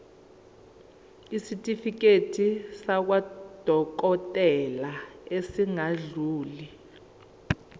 isitifiketi sakwadokodela esingadluli